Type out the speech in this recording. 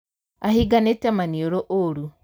Ahinganīte maniūrū ūru